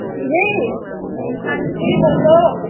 ਹਾਂਜੀ ਬੋਲੋ।